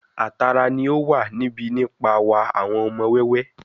A tara ni o wa níbi nipa wa awọn ọmọ wẹwẹ